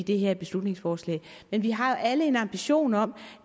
det her beslutningsforslag men vi har jo alle en ambition om